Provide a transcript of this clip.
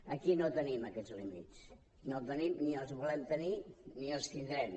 aquí no els tenim aquests límits ni els volem tenir ni els tindrem